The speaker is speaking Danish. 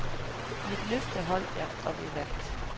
Mit løfte holdt jeg, og vi vandt.